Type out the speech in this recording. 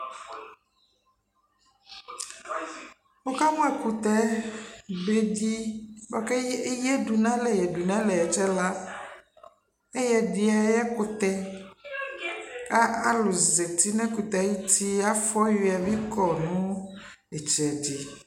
Wʋka mʋ ɛkʋtɛ bedɩ ko ke eyǝdu n'alɛ yǝdu n'alɛ ɛtsɛla Ɛyɛdɩ ay'ɛkʋtɛ ; a alʋ zati n'ɛkʋtɛɛ ayuti, afʋɔyʋɛ bɩ kɔ nʋ ɩtsɛdɩ